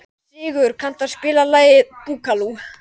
Sigur, kanntu að spila lagið „Búkalú“?